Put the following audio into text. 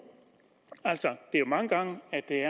mange gange